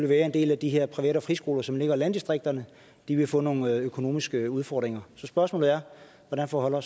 være at en del af de her privat og friskoler som ligger i landdistrikterne vil få nogle økonomiske udfordringer så mit spørgsmål er hvordan forholder